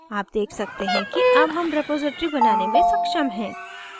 आप देख सकते हैं कि अब हम रेपॉसिटरी बनाने में सक्षम हैं